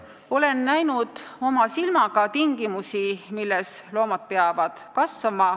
Olen oma silmaga näinud tingimusi, milles loomad peavad kasvama.